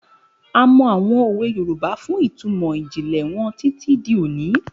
A mọ àwọn òwe Yorùbá fún ìtumọ̀ ìjìnlẹ̀ wọn títí di òní.